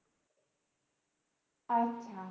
আচ্ছা